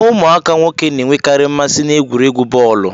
Ụmụaka nwoke na-enwekari mmasị na egwuregwu bọọlu